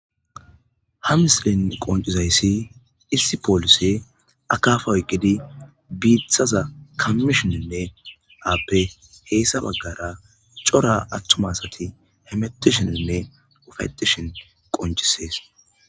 Ha misilen qonc'isizaysi issi polisse akkafa oyikidi bittazza kamishsheninne appe heyssa bagara c'ora attuma asati hametisheninne ufayittishen qonc'ises.